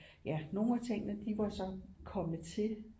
Ja nogle af tingene de var så kommet til